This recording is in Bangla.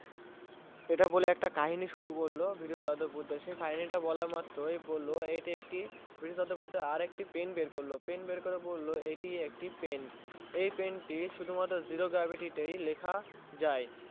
ইটা বলে একটি কাহিনী শুরু করলো বিরু সাহাদ্দ বুড্ডে সে কাহিনী তা বলা মাত্রই বোলো ইটা একটি আর একটি বিরু সাহাদ্দ বুড্ডে বললো এটি একটি Pen বার করলো বার করে বললো ইটা একটি Pen এই Pen এই পেন টি শুধু মাত্র Zero gravity তাই লেখা যায়